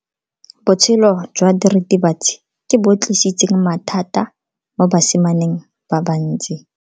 Botshelo jwa diritibatsi ke bo tlisitse mathata mo basimaneng ba bantsi.